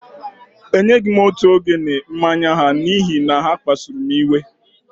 Enyeghị m òtù ogene mmanya ha n’ihi na ha kpasuru m iwe